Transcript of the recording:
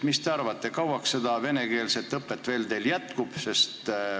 Mis te arvate, kui kauaks seda venekeelset õpet teil veel jätkub?